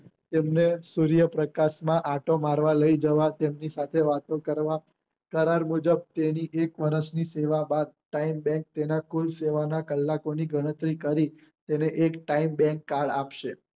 તેમને સૂર્યપ્રકાશ માં આંટો મારવા લઇ જવા તેમની સાથે વાતો કરવા કરાર મુજબ તેમની એક વર્ષ ની સેવા બાદ time bank તેમના કુલ કલાકો ની ગણતરી કરી તેને એક time bankcard આપશે